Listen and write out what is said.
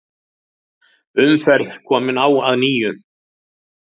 Umferð komin á að nýju